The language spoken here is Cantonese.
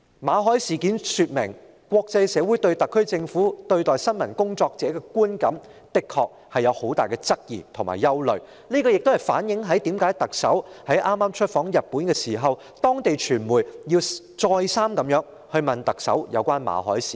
馬凱事件說明，國際社會對特區政府對待新聞工作者的觀感的確有很大的質疑和憂慮，這亦反映為何特首在早前出訪日本時，當地傳媒會再三詢問特首有關馬凱的事件。